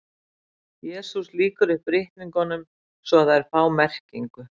Jesús lýkur upp ritningunum svo að þær fá merkingu.